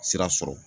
Sira sɔrɔ